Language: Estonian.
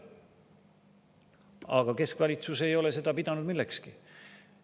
Aga keskvalitsus ei ole seda pidanud millekski.